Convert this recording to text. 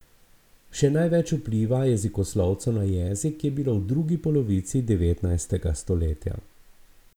Še največ vpliva jezikoslovcev na jezik je bilo v drugi polovici devetnajstega stoletja.